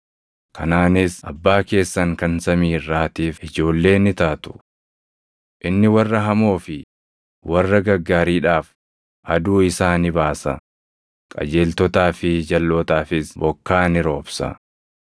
kanaanis abbaa keessan kan samii irraatiif ijoollee ni taatu. Inni warra hamoo fi warra gaggaariidhaaf aduu isaa ni baasa; qajeeltotaa fi jalʼootaafis bokkaa ni roobsa.